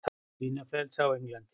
Svínaflensa á Englandi